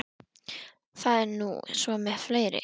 Það er nú svo með fleiri.